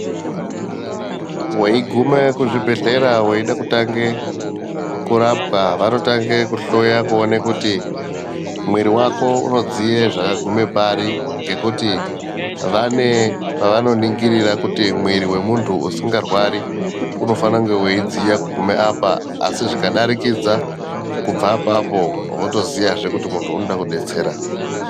Weyikume kuzvibhedlera weyida kutange kurapwa, vanotange kuhloya kuwone kuti, muiri wako unodziye zvakagumepari ngekuti vanepavanoningirira kuti muiri wemuntu usingarwari unofanakunge weyidziya kugume apa asi zvikadarikidza kubva apapo wotoziya zve kuti muntu unodekudetsera.